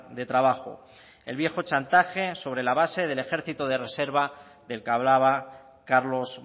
de trabajo el viejo chantaje sobre la base del ejército de reserva del que hablaba carlos